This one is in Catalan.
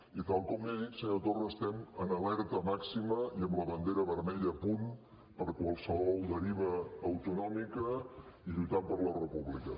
i tal com li he dit senyor torra estem en alerta màxima i amb la bandera vermella a punt per qualsevol deriva autonòmica i lluitant per la república